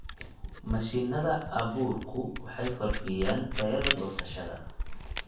Mashiinada abuurku waxay kordhiyaan tayada goosashada.